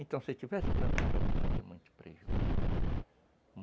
Então, se tivesse plantando a juta ia ter muito prejuízo.